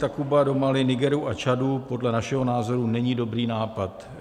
Takuba do Mali, Nigeru a Čadu podle našeho názoru není dobrý nápad.